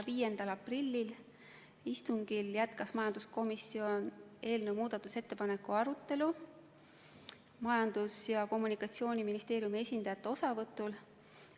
5. aprilli istungil jätkas majanduskomisjon eelnõu muudatusettepanekute arutelu Majandus- ja Kommunikatsiooniministeeriumi esindajate osavõtul.